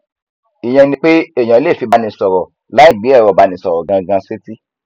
ìyẹn ni pé èèyàn lè fi báni sọrọ láì gbé ẹrọ ìbánisọrọ gangan sétí